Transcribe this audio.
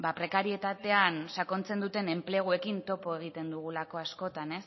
prekarietatean sakontzen duten enpleguekin topo egiten dugulako askotan